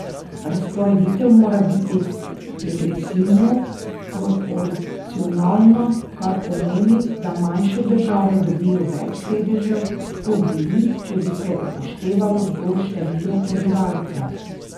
Razporeditev mora biti degresivno proporcionalna, kar pomeni, da manjše države dobijo več sedežev, kot bi jih, če bi se upoštevalo zgolj število prebivalcev.